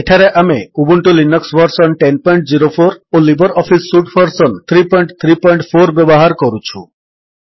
ଏଠାରେ ଆମେ Ubuntu Linux version 1004 ଓ ଲିବର୍ ଅଫିସ୍ ସୁଟ୍ ଭର୍ସନ୍ 334 ବ୍ୟବହାର କରୁଛୁ